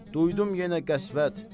duydum yenə qəsvət.